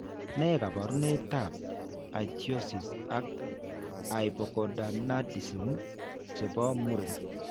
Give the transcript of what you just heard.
Ne kaabarunetap Ichthyosis ak hypogonadism che po muren?